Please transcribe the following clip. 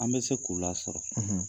An bɛ se k'u lasɔrɔ